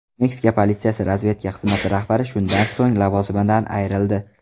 Meksika politsiyasi razvedka xizmati rahbari shundan so‘ng lavozimidan ayrildi.